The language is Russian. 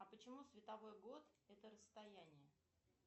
а почему световой год это расстояние